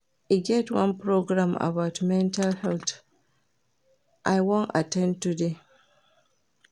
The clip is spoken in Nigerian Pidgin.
E get one program about mental health I wan at ten d today